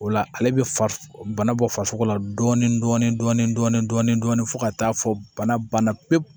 O la ale be fariso bana bɔ farisogo la dɔɔnin dɔɔnin fo ka taa fɔ bana banna pewu